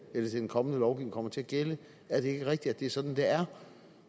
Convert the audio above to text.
den kommende lovgivning kommer til at gælde er det ikke rigtigt at det er sådan det er